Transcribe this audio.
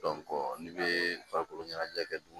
n'i bɛ farikolo ɲɛnajɛ kɛ dun